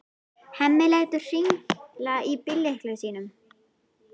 Hemmi lætur hringla í bíllyklunum sínum.